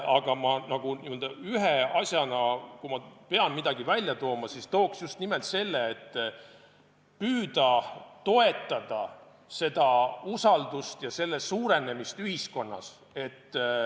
Aga ühe asjana, kui ma pean midagi esile tooma, tooksin just nimelt püüde toetada usaldust ja selle suurenemist ühiskonnas.